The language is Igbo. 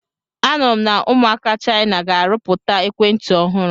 A nụrụ m na ụmụaka Chaina ga-arụpụta ekwentị ọhụrụ.